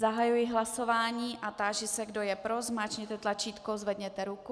Zahajuji hlasování a táži se, kdo je pro, zmáčkněte tlačítko, zvedněte ruku.